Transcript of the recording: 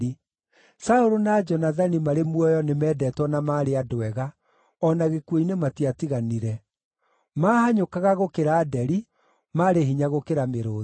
“Saũlũ na Jonathani, marĩ muoyo nĩmendetwo na maarĩ andũ ega, o na gĩkuũ-inĩ matiatiganire. Maahanyũkaga gũkĩra nderi, maarĩ hinya gũkĩra mĩrũũthi.